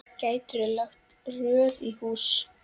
Gætirðu lagt rör í hús?